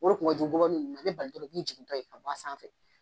jiginto ye ka b'a sanfɛ.